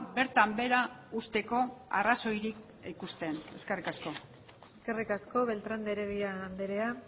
bertan behera uzteko arrazoirik ikusten eskerrik asko eskerrik asko beltrán de heredia andrea